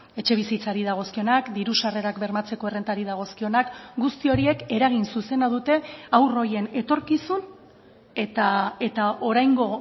etxebizitzari dagozkionak diru sarrerak bermatzeko errentari dagozkionak guzti horiek eragin zuzena dute haur horien etorkizun eta oraingo